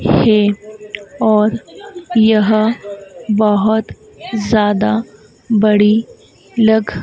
है और यह बहोत ज्यादा बड़ी लग--